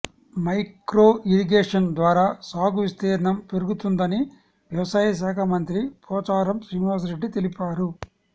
micro irrigation ద్వారా సాగు విస్తీర్ణం పెరుగుతుందని వ్యవసాయ శాఖ మంత్రి పోచారం శ్రీనివాసరెడ్డి తెలిపారు